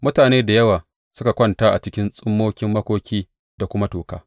Mutane da yawa suka kwanta a cikin tsummokin makoki da kuma toka.